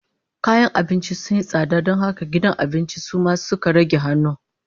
Kayan abinci sun yi tsada don haka gidan abincin su ma suka rage hannu